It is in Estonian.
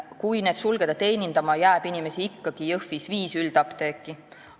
Kui need sulgeda, jääb Jõhvis inimesi teenindama ikkagi viis üldapteeki.